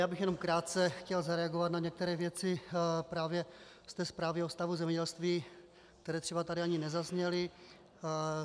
Já bych jenom krátce chtěl zareagovat na některé věci právě z té zprávy o stavu zemědělství, které třeba tady ani nezazněly.